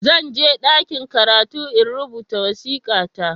Zan je ɗakin karatu in rubuta wasika ta